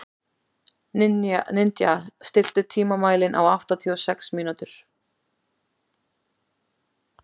Ninja, stilltu tímamælinn á áttatíu og sex mínútur.